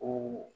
O